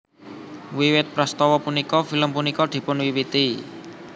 Wiwit prastawa punika film punika dipunwiwiti